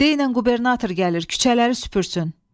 Denən qubernator gəlir küçələri süpürsün.